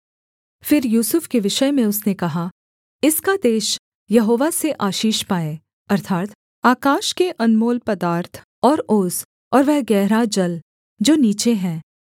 फिर यूसुफ के विषय में उसने कहा इसका देश यहोवा से आशीष पाए अर्थात् आकाश के अनमोल पदार्थ और ओस और वह गहरा जल जो नीचे है